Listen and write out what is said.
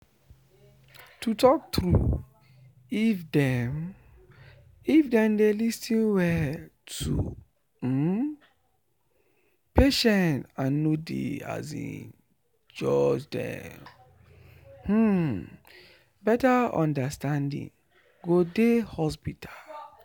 to talk true if dem if dem dey lis ten well to um patient and no dey um judge them um better understanding go dey hospital.